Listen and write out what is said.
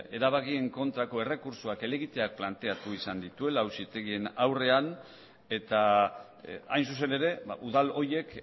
erabakien kontrako errekurtsoak helegitea planteatu izan dituela auzitegien aurrean eta hain zuzen ere udal horiek